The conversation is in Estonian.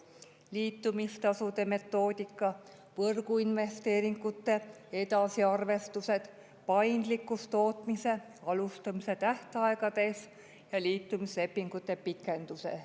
Liitumistasude metoodika, võrguinvesteeringute edasiarvestused, paindlikkus tootmise alustamise tähtaegades ja liitumislepingute pikendused.